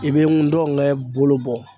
I bɛ ndɔnkɛ bolo bɔ.